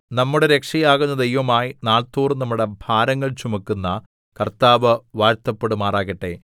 നമ്മുടെ രക്ഷയാകുന്ന ദൈവമായി നാൾതോറും നമ്മുടെ ഭാരങ്ങൾ ചുമക്കുന്ന കർത്താവ് വാഴ്ത്തപ്പെടുമാറാകട്ടെ സേലാ